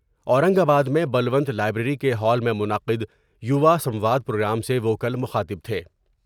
اورنگ آباد میں بلونت لائبریری کے ہال میں منعقدیواسنواد پروگرام سے وہ کل مخاطب تھے ۔